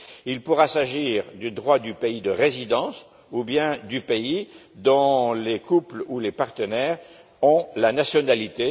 Il pourra s'agir du droit du pays de résidence ou bien du pays dont les couples ou les partenaires ont la nationalité.